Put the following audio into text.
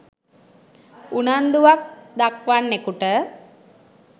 උනන්දුවක් දක්වන්නෙකුට